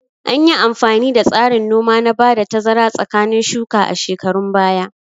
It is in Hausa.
Anyi amfani da tsarin noma na ba da tazara tsakanin shuka a shekarun baya